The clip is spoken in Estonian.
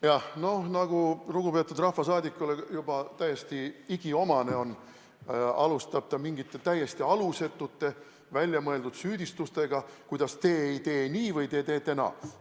Jah, nagu lugupeetud rahvasaadikule juba täiesti igiomane, alustab ta mingite täiesti alusetute, väljamõeldud süüdistustega, miks te ei tee nii või miks te teete naa.